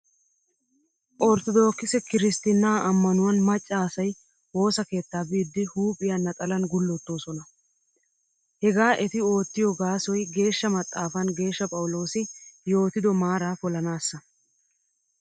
Orttodokise kiristtinnaa ammanuwan maccaa asay woosa keettaa biiddi huuphiyaa naxalan gullettoosona. Hegaa eti oottiyo gaasoy geeshsha maxaafan Geeshsha Phawuloosi yootido maaraa polanaassa.